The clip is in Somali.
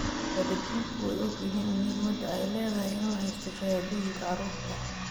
Waalidiintu way ogyihiin muhiimadda ay leedahay in la haysto shahaadooyinka carruurta.